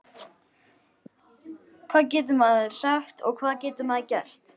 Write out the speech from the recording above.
Hvað getur maður sagt og hvað getur maður gert?